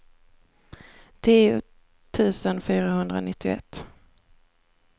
tio tusen fyrahundranittioett